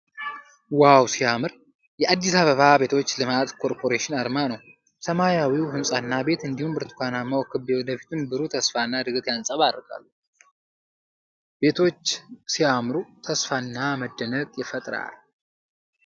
ዋው ሲያምር! የአዲስ አበባ ቤቶች ልማት ኮርፖሬሽን አርማ ነው። ሰማያዊው ሕንፃና ቤት እንዲሁም ብርቱካናማው ክብ የወደፊቱን ብሩህ ተስፋና እድገት ያንጸባርቃሉ። ቤቶች ሲያምሩ! ተስፋና መደነቅ ይፈጠራል።